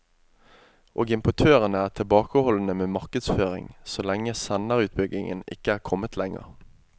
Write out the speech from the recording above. Og importørene er tilbakeholdne med markedsføring så lenge senderutbyggingen ikke er kommet lenger.